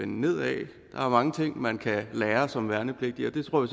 nedad der er mange ting man kan lære som værnepligtig og det tror